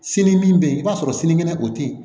Sini min bɛ yen i b'a sɔrɔ sinikɛnɛ o tɛ yen